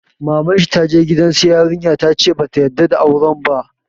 Maman shi ta je gidan su yarinya ta ce ba ta yarda da auren ba.